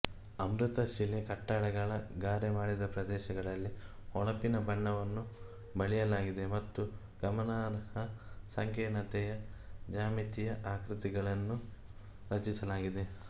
ಅಮೃತಶಿಲೆ ಕಟ್ಟಡಗಳ ಗಾರೆ ಮಾಡಿದ ಪ್ರದೇಶಗಳಲ್ಲಿ ಹೊಳಪಿನ ಬಣ್ಣವನ್ನು ಬಳಿಯಲಾಗಿದೆ ಮತ್ತು ಗಮನಾರ್ಹ ಸಂಕೀರ್ಣತೆಯ ಜ್ಯಾಮಿತಿಯ ಆಕೃತಿಗಳನ್ನು ರಚಿಸಲಾಗಿದೆ